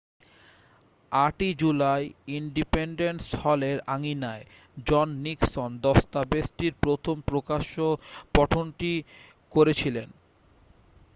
8ই July independence হলের আঙিনায় John Nixon দস্তাবেজটির প্রথম প্রকাশ্য পঠনটি করেছিলেন